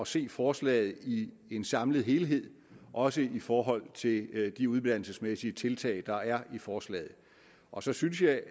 se forslaget i en samlet helhed også i forhold til de uddannelsesmæssige tiltag der er i forslaget og så synes jeg